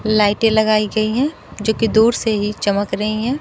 लाइटें लगाई गई हैं जो की दुर से ही चमक रही हैं।